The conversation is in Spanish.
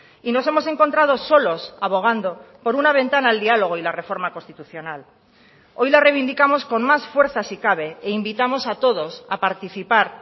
y nos hemos encontrado solos abogando por una ventana al diálogo y la reforma constitucional hoy la reivindicamos con más fuerza si cabe e invitamos a todos a participar